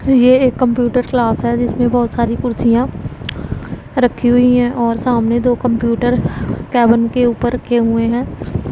यह एक computer class है जिसमें बहुत सारी कुर्सियां रखी हुई हैं और सामने दो कंप्यूटर केबिन के ऊपर के हुए हैं।